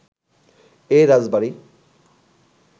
এ রাজবাড়ি